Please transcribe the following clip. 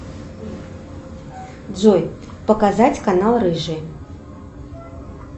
джой показать канал рыжий